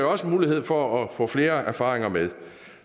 også mulighed for at få flere erfaringer med